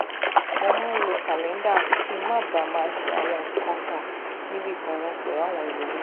mo máa ń lo kàléńdà kí n má baà máa ṣe àwọn nǹkan kan níbì kan náà pèlú àwọn ẹlòmíì